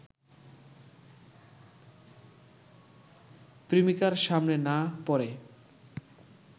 প্রেমিকার সামনে না পড়ে